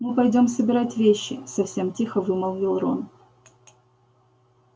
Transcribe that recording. мы пойдём собирать вещи совсем тихо вымолвил рон